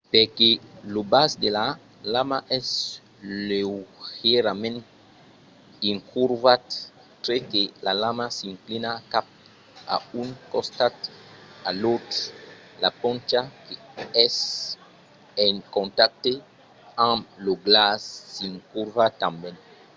perque lo bas de la lama es leugièrament incurvat tre que la lama s'inclina cap a un costat o l’autre la poncha qu'es en contacte amb lo glaç s’incurva tanben